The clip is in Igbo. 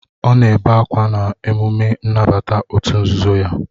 Ọ na-ebe akwa na emume nnabata òtù nzuzo ya